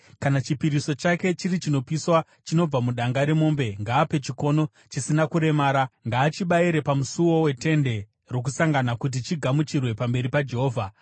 “ ‘Kana chipiriso chake chiri chinopiswa chinobva mudanga remombe, ngaape chikono chisina kuremara. Ngaachibayire pamusuo weTende Rokusangana kuti chigamuchirwe pamberi paJehovha.